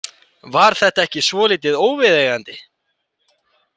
Var þetta ekki svolítið óviðeigandi?